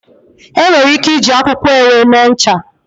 Enwere ike iji akwụkwọ ewe mee ncha.